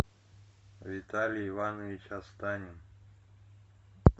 виталий иванович останин